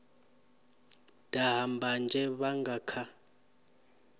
daha mbanzhe vha nga kha